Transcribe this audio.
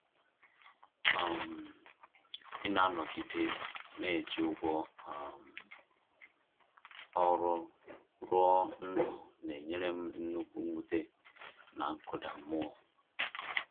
um Ịna-anọgide na-eji ụgwọ um ọrụ rụọ ndụ n’enyere m nnukwu mwute na nkụda mmụọ